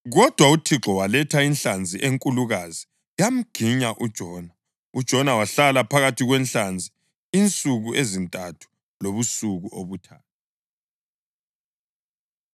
Kodwa uThixo waletha inhlanzi enkulukazi yamginya uJona, uJona wahlala phakathi kwenhlanzi insuku ezintathu lobusuku obuthathu.